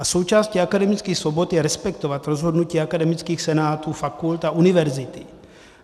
A součástí akademických svobod je respektovat rozhodnutí akademických senátů fakult a univerzity.